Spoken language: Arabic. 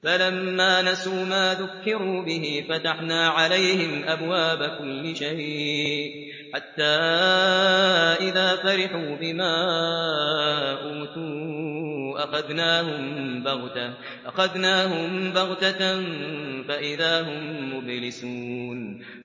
فَلَمَّا نَسُوا مَا ذُكِّرُوا بِهِ فَتَحْنَا عَلَيْهِمْ أَبْوَابَ كُلِّ شَيْءٍ حَتَّىٰ إِذَا فَرِحُوا بِمَا أُوتُوا أَخَذْنَاهُم بَغْتَةً فَإِذَا هُم مُّبْلِسُونَ